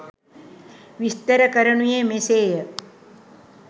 විස්තර කරනුයේ මෙසේය.